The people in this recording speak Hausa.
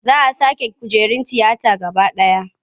Za a sake kujerun tiyata gaba ɗaya.